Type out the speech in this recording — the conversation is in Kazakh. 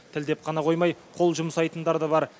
тілдеп қана қоймай қол жұмсайтындар да бар